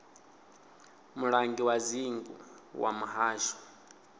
mulangi wa dzingu wa muhasho